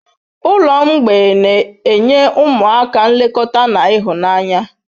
Ụlọ mgbei na-enye ụmụaka nlekọta na ịhụnanya.